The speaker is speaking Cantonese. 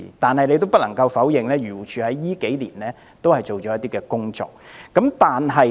不過，我們也不能否認漁護署近年也做了一些工作。